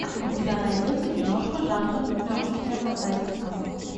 у тебя найдется киношка жанра ненаучная фантастика